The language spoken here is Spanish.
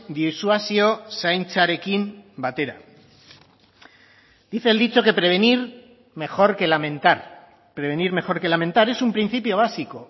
disuasio zaintzarekin batera dice el dicho que prevenir mejor que lamentar prevenir mejor que lamentar es un principio básico